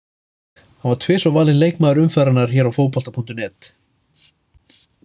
Hann var tvisvar valinn leikmaður umferðarinnar hér á Fótbolta.net.